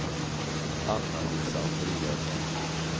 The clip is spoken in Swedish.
Anna-Lisa Andreasson